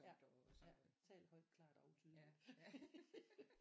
Ja ja tal højt klart og tydeligt ja